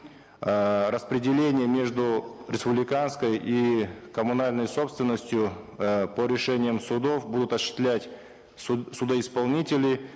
эээ распределение между республиканской и коммунальной собственностью э по решениям судов будут осуществлять судоисполнители